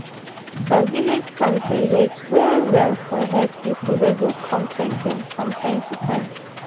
some village towns dey wait well well for health people wey go come check them from time to time.